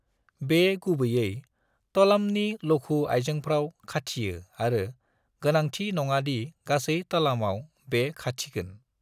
बे गुबैयै तलामनि लघु आइजेंफ्राव खाथियो आरो गोनांथि नङा दि गासै तलामआव बे खाथिगोन।